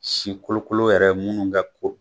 Si kolokolo yɛrɛ ye minnu bɛ ko